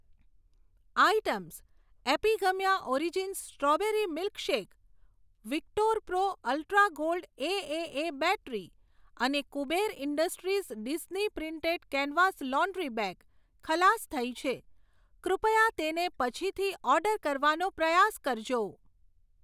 Items Epigamia origins strawberry milkshake, Victorpro ultra gold AAA battery અને Kuber industries Disney printed canvas laundry bag ખલાસ થઈ છે, કૃપયા તેને પછીથી ઓર્ડર કરવાનો પ્રયાસ કરજો.